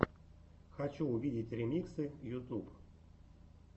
хочу увидеть ремиксы ютуб